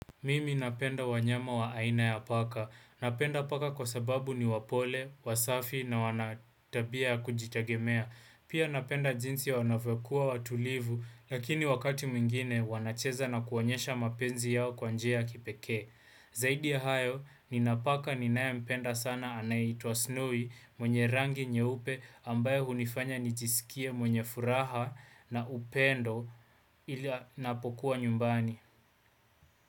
Mimi napenda wanyama wa aina ya paka. Napenda paka kwa sababu ni wapole, wasafi na wanatabia ya kujitegemea. Pia napenda jinsi ya wanavyo kua watulivu, lakini wakati mingine wanacheza na kuwanyesha mapenzi yao kwa njia ya kipeke. Zaidi ya hayo, ninapaka ni nae mpenda sana anaitwa snowy mwenye rangi nyeupe ambayo unifanya nijisikie mwenye furaha na upendo ili napokuwa nyumbani.